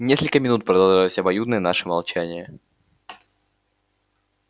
несколько минут продолжалось обоюдное наше молчание